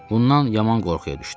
Bundan yaman qorxuya düşdüm.